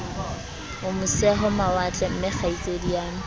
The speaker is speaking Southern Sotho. o moseho mawatle mmekgaitsedi ya